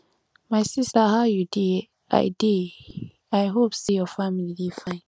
my sister how you dey i dey i hope say your family dey fine